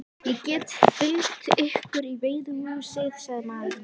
Ég get fylgt ykkur í veiðihúsið, sagði maðurinn.